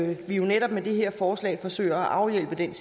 vi jo netop med det her forslag forsøger at afhjælpe det er